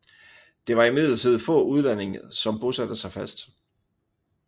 Det var imidlertid få udlændinge som bosatte sig fast